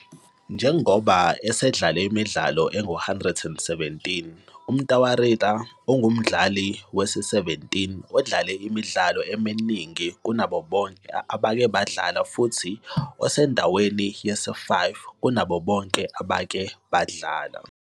Njengoba esedlale imidlalo engu-117, uMtawarira ungumdlali we-17 odlale imidlalo eminingi kunabo bonke abake badlala futhi esendaweni yesi-5 kunabo bonke abake badlala.